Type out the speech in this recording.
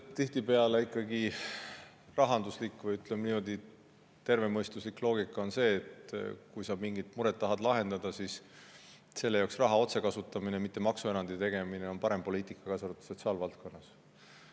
No üldiselt on rahanduslik või, ütleme, tervemõistuslik loogika selline, et kui sa mingit muret tahad lahendada, siis selle jaoks raha otse on parem poliitika kui maksuerandi tegemine, seda ka sotsiaalvaldkonnas.